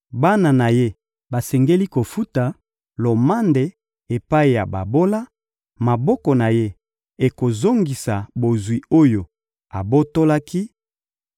bana na ye basengeli kofuta lomande epai ya babola, maboko na ye ekozongisa bozwi oyo abotolaki,